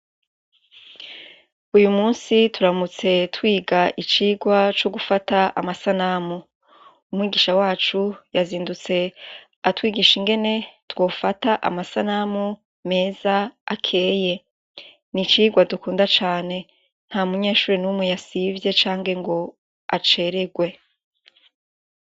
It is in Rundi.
Uyu musi turamutse twiga icigwa c'ugufata amasanamu. Umwigisha wacu yazindutse atwigisha ingene twofata amasanamu meza akeye. Ni icirwa dukunda cane. Ntamunyeshure n’umwe yasivye canke ngo acererwe.